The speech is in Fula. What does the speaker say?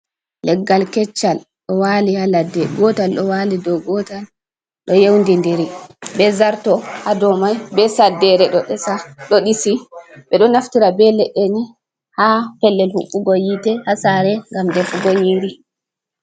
Leggal keccal ɗo wali ha ladde, gotal ɗo wali dow gotal ɗo yewndi ndiri be zarto hadow mai be saddere ɗo ɗisi. Ɓeɗo naftira be leɗɗe ni ha pellel huɓɓugo yite ha sare ngam defu go nyiri.